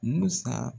Musa